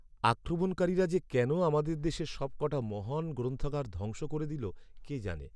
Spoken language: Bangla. আক্রমণকারীরা যে কেন আমাদের দেশের সবকটা মহান গ্রন্থাগার ধ্বংস করে দিল কে জানে।